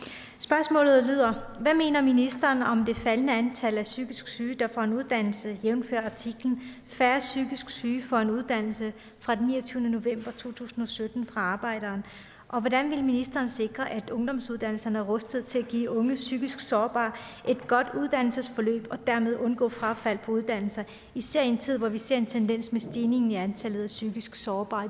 spørgsmålet lyder hvad mener ministeren om det faldende antal af psykisk syge der får en uddannelse jævnfør artiklen færre psykisk syge får uddannelse fra den niogtyvende november to tusind og sytten i arbejderen og hvordan vil ministeren sikre at ungdomsuddannelserne er rustet til at give unge psykisk sårbare et godt uddannelsesforløb og dermed undgå frafald på uddannelser især i en tid hvor vi ser en tendens med stigning i antallet af psykisk sårbare